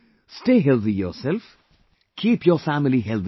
Stay healthy yourself, keep your family healthy too